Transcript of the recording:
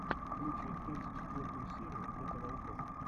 включи тридцать четвертую серию лето волков